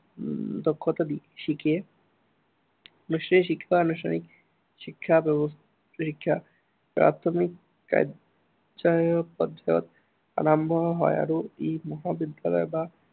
উম দক্ষতা শিকে। বিশেষ শিক্ষা, আনুষ্ঠানিক শিক্ষা প্ৰাথমিক পৰ্যায়ত আৰম্ভ হয় আৰু ই মহাবিদ্য়ালয় বা